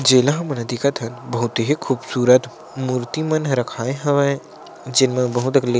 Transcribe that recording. जेला मन दिखत हन बहुत ही खूबसूरत मूर्ति मन रखाय हवे जेमे बहु देखली --